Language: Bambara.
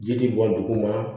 Ji ti bɔn duguma